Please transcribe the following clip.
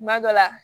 Kuma dɔ la